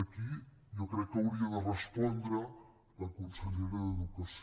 aquí jo crec que hauria de respondre la consellera d’educació